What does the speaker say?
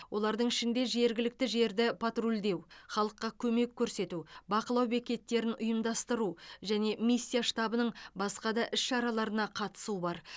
олардың ішінде жергілікті жерді патрульдеу халыққа көмек көрсету бақылау бекеттерін ұйымдастыру және миссия штабының басқа да іс шараларына қатысу бар